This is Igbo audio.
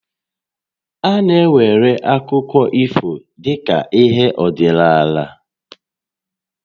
A na-ewere akụkọ ifo dị ka ihé ọdịnaala